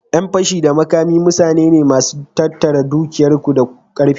Ƴan fashi da makami mutane ne masu tattara dukiyar ku da karfi.